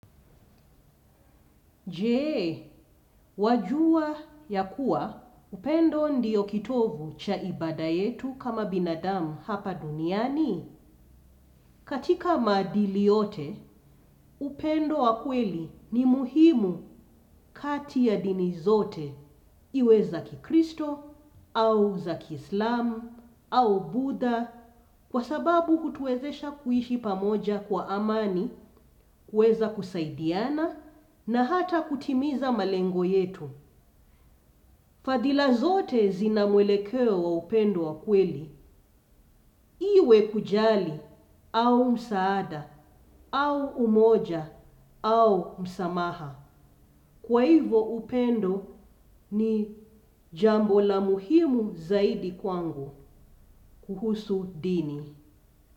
Jee, wajua ya kuwa upendo ndiyo kitovu cha ibada yetu kama binadamu hapa duniani. Katika madili yote, upendo wakweli ni muhimu kati ya dini zote, iwe za kikristo au zaki islamu au budha kwa sababu kutuwezesha kuishi pamoja kwa amani, kueza kusaidiana na hata kutimiza malengo yetu. Fadila zote zinamwelekeo wa upendo wa kweli, iwe kujali, au msaada, au umoja, au msamaha. Kwa hivo upendo ni jambo la muhimu zaidi kwangu kuhusu dini.